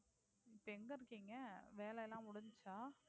இப்போ எங்க இருக்கீங்க? வேல எல்லாம் முடிஞ்சிச்சா